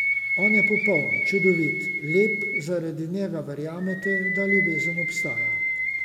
On je popoln, čudovit, lep, zaradi njega verjamete, da ljubezen obstaja.